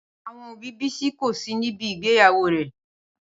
Awon obi Bisi ko si nibi igbeyawo re.